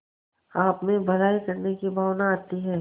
आपमें भलाई करने की भावना आती है